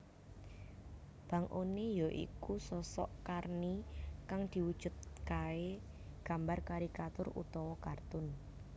Bang One ya iku sosok Karni kang diwujudkae gambar karikatur/kartun